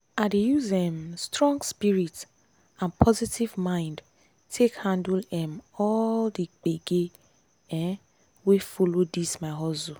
i dey use um strong spirit and positive mind take handle um all the gbege um wey follow this my hustle.